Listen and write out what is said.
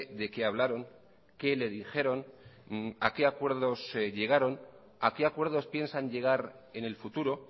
de qué hablaron qué le dijeron a qué acuerdos se llegaron a qué acuerdos piensan llegar en el futuro